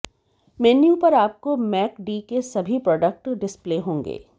menu पर आपको Mac D के सभी प्रोडक्ट डिस्प्ले होंगे